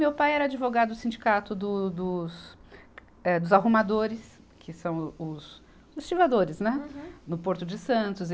Meu pai era advogado do sindicato do, dos eh, dos arrumadores, que são os estivadores, né. Uhum. No Porto de Santos.